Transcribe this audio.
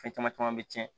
Fɛn caman caman bɛ tiɲɛ